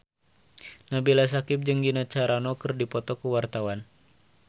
Nabila Syakieb jeung Gina Carano keur dipoto ku wartawan